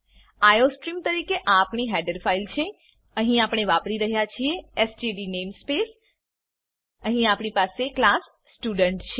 iostream તરીકે આ આપણી હેડર ફાઈલ છે અહીં આપણે વાપરી રહ્યા છીએ એસટીડી નેમસ્પેસ અહીં આપણી પાસે ક્લાસ સ્ટુડન્ટ છે